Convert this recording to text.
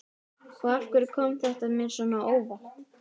Og af hverju kom þetta mér svona á óvart?